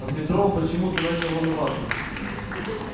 в метро он почему-то начал волноваться